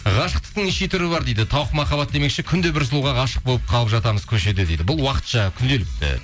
ғашықтықтың неше түрі бар дейді тауық махаббат демекші күнде бір сұлуға ғашық болып қалып жатамыз көшеде дейді бұл уақытша күнделікті